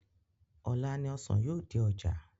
Ọ̀la ni ọsàn yóò dé ọjà